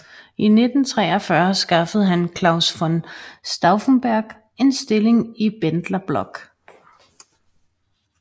I 1943 skaffede han Claus von Stauffenberg en stilling i Bendlerblock